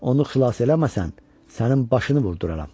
Onu xilas eləməsən, sənin başını vurduraram.